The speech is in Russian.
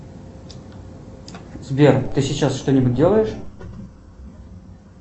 сбер ты сейчас что нибудь делаешь